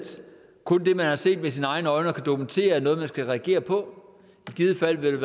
kun det man har set med sine egne øjne og kan dokumentere er noget man skal reagere på i givet fald ville